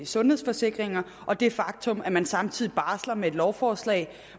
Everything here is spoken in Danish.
sundhedsforsikringer og det faktum at man samtidig barsler med et lovforslag